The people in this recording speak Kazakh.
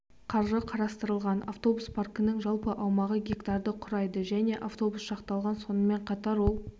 қаржы қарастырылған автобус паркінің жалпы аумағы гектарды құрайды және автобусқа шақталған соным ен қатар ол